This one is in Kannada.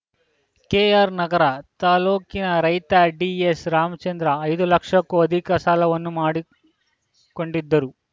ಕೆಆರ್‌ನಗರ ತಾಲೂಕಿನ ರೈತ ಡಿಎಸ್‌ರಾಮಚಂದ್ರ ಐದು ಲಕ್ಷಕ್ಕೂ ಅಧಿಕ ಸಾಲವನ್ನು ಮಾಡಿ ಕೊಂಡಿದ್ದರು